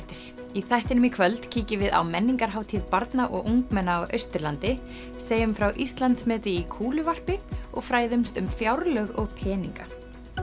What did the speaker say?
í þættinum í kvöld kíkjum við á menningarhátíð barna og ungmenna á Austurlandi segjum frá Íslandsmeti í kúluvarpi og fræðumst um fjárlög og peninga